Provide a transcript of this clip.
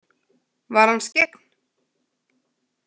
Var hann skyggn?